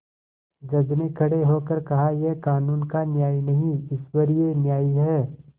जज ने खड़े होकर कहायह कानून का न्याय नहीं ईश्वरीय न्याय है